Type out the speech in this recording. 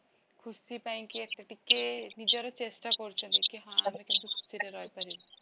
ଖୁସି ପାଇଁକେ ଏତେ ଟିକେ ନିଜର ଚେଷ୍ଟା କରୁଛନ୍ତି କି ହଁ ଆମେ କେତେ ଖୁସିରେ ରହି ପାରିବୁ